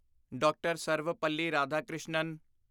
D R. Sarvepalli Radhakrishnan